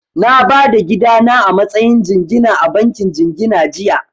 Na ba da gida na a matsayin jingina a bankin jingina jiya